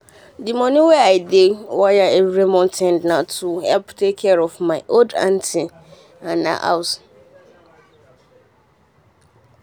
the money wey i dey wire every month na to help take care of my old auntie and her house.